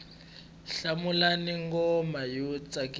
hlawulani nghoma yo tsakisa